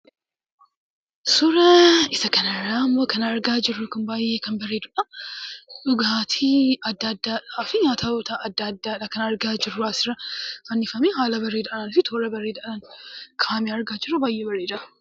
Suuraa isaa kana irraa immoo kan arga jiruu kun, baay'ee kan bareduudha. Dhugaatti adda addaa fi nyaatootataa adda addaadha kan argaa jiru. As irra fannifamee haala bareeda fi toora bareedadhan ka'ameedha argaa jiruu baay'ee bareeda.